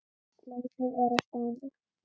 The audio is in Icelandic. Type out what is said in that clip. Leikið er á Spáni.